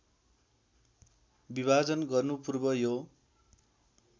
विभाजन गर्नुपूर्व यो